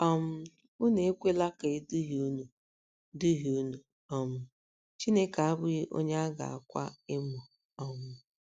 um “ Unu ekwela ka e duhie unu duhie unu: um Chineke abụghị onye a ga - akwa emo um.